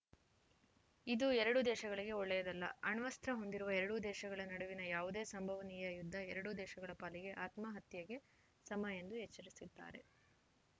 ಇದು ಎರಡೂ ದೇಶಗಳಿಗೆ ಒಳ್ಳೆಯದಲ್ಲ ಅಣ್ವಸ್ತ್ರ ಹೊಂದಿರುವ ಎರಡು ದೇಶಗಳ ನಡುವಿನ ಯಾವುದೇ ಸಂಭವನೀಯ ಯುದ್ಧ ಎರಡೂ ದೇಶಗಳ ಪಾಲಿಗೆ ಆತ್ಮಹತ್ಯೆಗೆ ಸಮ ಎಂದು ಎಚ್ಚರಿಸಿದ್ದಾರೆ